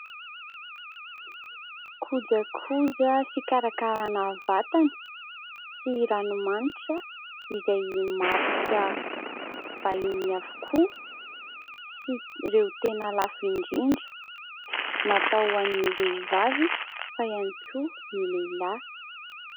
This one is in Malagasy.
Kojakoja fikarakaràna vatana sy ranomanitra izay marika vahiny avokoa sy ireo tena lafo indrindra. Natao ho an'ny vehivavy fa ihany koa ny lehilahy.